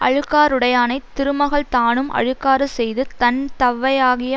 அழுக்காறுடையானைத் திருமகள் தானும் அழுக்காறு செய்து தன் தவ்வையாகிய